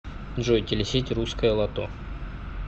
джой телесеть русское лото